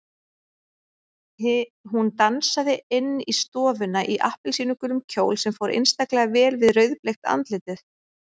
Hún dansaði inn í stofuna í appelsínugulum kjól sem fór einstaklega vel við rauðbleikt andlitið.